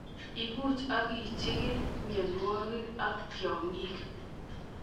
Ibuch ak ichikil mionwokik ak tiong'ik.